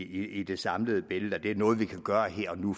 i det samlede billede at det er noget vi kan gøre her og nu